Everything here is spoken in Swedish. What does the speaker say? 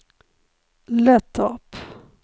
Löttorp